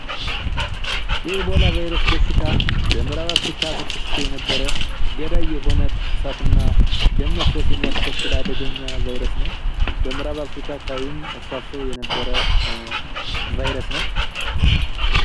የኢቦላ ቫይረስ በሽታ በምራብ አፍሪካ ተከስቶ የነበረ ገዳይ የሆነ ትኩሳትና ደም መፍሰስ የሚያስከትል አደገኛ ቫይረስ ነው። በምራብ አፍሪካ አካቢም ተከስቶ የነበረ ቫይረስ ነው።